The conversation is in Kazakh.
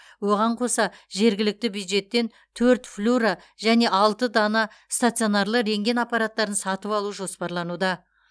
оған қоса жергілікті бюджеттен төрт флюро және алты дана стационарлы рентген аппараттарын сатып алу жоспарлануда